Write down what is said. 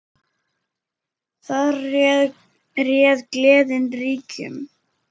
Þar réð gleðin ríkjum.